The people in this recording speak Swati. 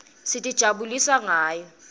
sitijabulisa ngayo